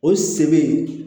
O se be yen